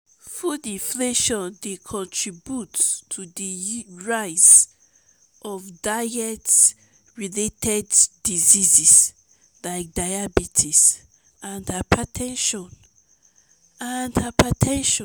food inflation dey contribute to di rise of diet-related diseases like diabetes and hyper ten sion. and hyper ten sion.